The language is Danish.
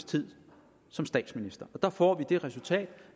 tid som statsminister der får vi det resultat